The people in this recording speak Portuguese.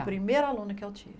O primeiro aluno que eu